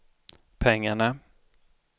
pengarna